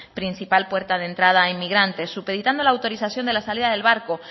principal puerta de entrada a inmigrantes supeditando la autorización de la salida del barco